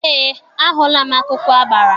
Eé, ahụla m akwụkwọ agbara.